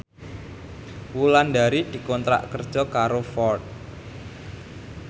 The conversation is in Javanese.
Wulandari dikontrak kerja karo Ford